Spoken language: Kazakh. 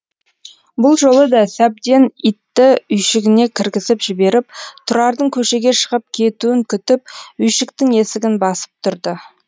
бұл жолы да сәбден итті үйшігіне кіргізіп жіберіп тұрардың көшеге шығып кетуін күтіп үйшіктің есігін басып тұрды